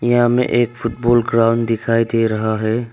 यहां हमें एक फुटबॉल ग्राउंड दिखाई दे रहा है।